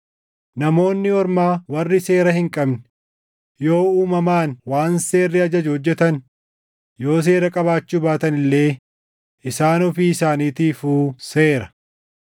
Namoonni Ormaa warri seera hin qabne yoo uumamaan waan seerri ajaju hojjetan, yoo seera qabaachuu baatan illee isaan ofii isaaniitiifuu seera.